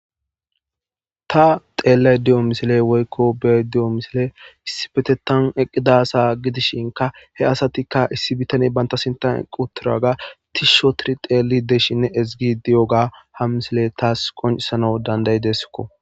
Ta xeellay diyo misile woykko be'ayda diyo misiley issipetetan eqqida asa gidishinka he asatikka issi bitane banta sinta eqqi uttidaga tishshi ootidi xeelli de'ishenne ezgi di'iyoga ha misile taas qoncisanaw dandayideskko.